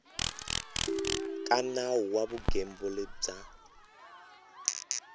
ka nawu wa vugembuli bya